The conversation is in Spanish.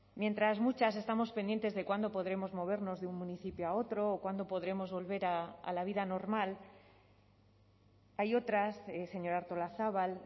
mientras muchas estamos pendientes de cuándo podremos movernos de un municipio a otro o cuándo podremos volver a la vida normal hay otras señora artolazabal